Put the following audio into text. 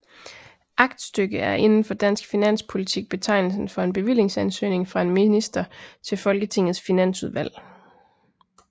Aktstykke er inden for dansk finanspolitik betegnelsen for en bevillingsansøgning fra en minister til Folketingets Finansudvalg